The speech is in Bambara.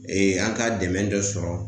Ee an ka dɛmɛ dɔ sɔrɔ